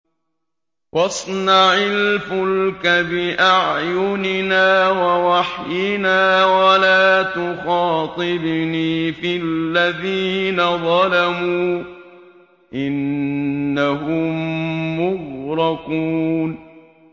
وَاصْنَعِ الْفُلْكَ بِأَعْيُنِنَا وَوَحْيِنَا وَلَا تُخَاطِبْنِي فِي الَّذِينَ ظَلَمُوا ۚ إِنَّهُم مُّغْرَقُونَ